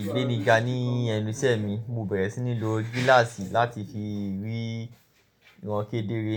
ìgbéniga ní ẹnu ìṣẹ́ mi, mo bẹ̀rẹ̀ sí ní lo gíláàsì láti fi ríran kedere.